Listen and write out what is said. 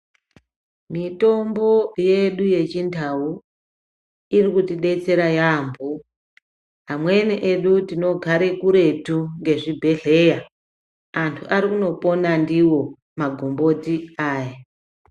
Mitombo yedu yechindau iri kutidetsera yaamho. Amweni edu tinogare kuretu ngezvibhedhleya. Antu ari kutopona ndiwo magomboti aya.